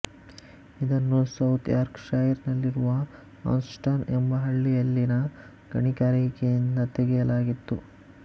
ಇದನ್ನು South Yorkshire ನಲ್ಲಿರುವ Anston ಎಂಬ ಹಳ್ಳಿಯಲ್ಲಿನ ಗಣಿಗಾರಿಕೆಯಿಂದ ತೆಗೆಯಲಾಗಿತ್ತು